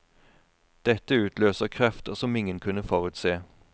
Dette utløser krefter som ingen kunne forutse.